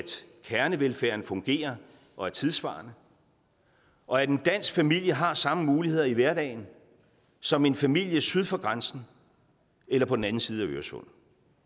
kernevelfærden fungerer og er tidssvarende og at en dansk familie har samme muligheder i hverdagen som en familie syd for grænsen eller på den anden side af øresund